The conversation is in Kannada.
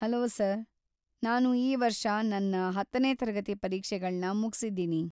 ಹಲೋ ಸರ್‌, ನಾನು ಈ ವರ್ಷ ನನ್ನ ಹತ್ತನೇ ತರಗತಿ ಪರೀಕ್ಷೆಗಳನ್ನ ಮುಗಿಸಿದ್ದೀನಿ.